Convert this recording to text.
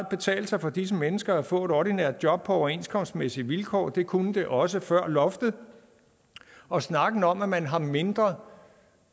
betale sig for disse mennesker at få et ordinært job på overenskomstmæssige vilkår det kunne det også før loftet og snakken om at man har mindre